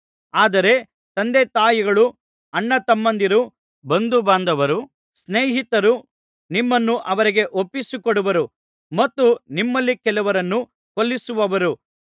ಆದರೆ ತಂದೆತಾಯಿಗಳೂ ಅಣ್ಣತಮ್ಮಂದಿರೂ ಬಂಧುಬಾಂಧವರೂ ಸ್ನೇಹಿತರೂ ನಿಮ್ಮನ್ನು ಅವರಿಗೆ ಒಪ್ಪಿಸಿಕೊಡುವರು ಮತ್ತು ನಿಮ್ಮಲ್ಲಿ ಕೆಲವರನ್ನು ಕೊಲ್ಲಿಸುವರು